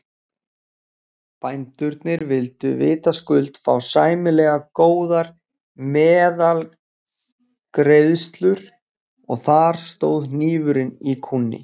Bændurnir vildu vitaskuld fá sæmilega góðar meðlagsgreiðslur og þar stóð hnífurinn í kúnni.